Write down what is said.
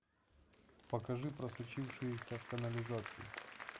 покажи просочившиеся в канализацию